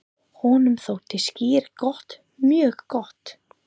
Honum þótti skyr gott, mjög gott.